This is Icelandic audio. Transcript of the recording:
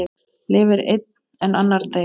Lifir einn en annar deyr?